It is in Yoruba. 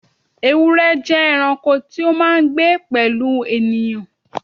Ewúrẹ́ jẹ́ ẹranko tí ó máa ń gbé pẹ̀lú ènìyàn.